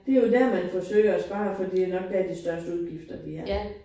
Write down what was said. Det jo der man forsøger at spare for det jo nok der de største udgifter de er